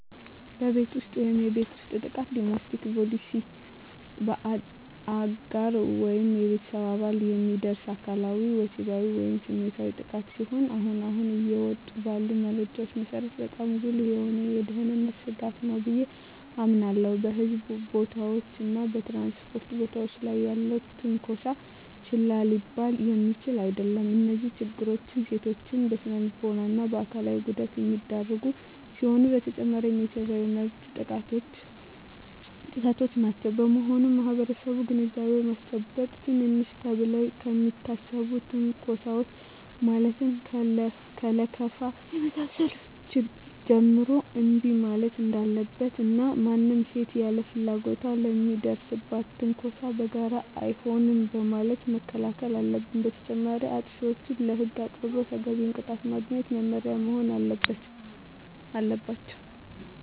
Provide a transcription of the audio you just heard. በቤት ውስጥ የቤት ውስጥ ጥቃት (Domestic Violence): በአጋር ወይም በቤተሰብ አባላት የሚደርስ አካላዊ፣ ወሲባዊ ወይም ስሜታዊ ጥቃት ሲሆን አሁን አሁን እየወጡ ባሉ መረጃዎች መሰረት በጣም ጉልህ የሆነ የደህንነት ስጋት ነው ብየ አምናለሁ። በሕዝብ ቦታዎች እና በ ትራንስፖርት ቦታወች ላይ ያለም ትነኮሳ ችላ ሊባል የሚችል አደለም። እነዚህ ችግሮች ሴቶችን ለስነልቦና እና አካላዊ ጉዳት የሚዳርጉ ሲሆኑ በተጨማሪም የሰብአዊ መብት ጥሰቶችም ናቸው። በመሆኑም ማህበረሰቡን ግንዛቤ በማስጨበጥ ትንንሽ ተብለው ከሚታሰቡ ትንኮሳወች ማለትም ከለከፋ ከመሳሰሉት ጀምሮ እንቢ ማለት እንዳለበት እና ማንም ሴት ያለ ፍላጎቷ ለሚደርስባት ትንኮሳ በጋራ አይሆንም በማለት መከላከል አለበት። በተጨማሪም አጥፊዎች ለህግ ቀርበው ተገቢውን ቅጣት በማግኘት መማሪያ መሆን አለባቸው።